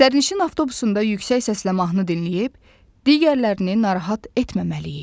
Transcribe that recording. Sərnişin avtobusunda yüksək səslə mahnı dinləyib, digərlərini narahat etməməliyik.